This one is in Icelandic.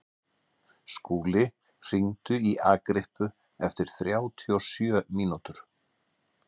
Skúli, hringdu í Agrippu eftir þrjátíu og sjö mínútur.